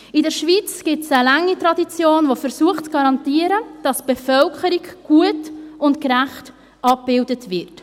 In der Schweiz gibt es eine lange Tradition, welche zu garantieren versucht, dass die Bevölkerung gut und gerecht abgebildet wird.